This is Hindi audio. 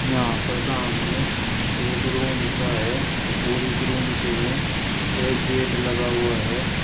यहां पर सामने एक रुम सा है और इस रुम से में एक गेट लगा हुआ है।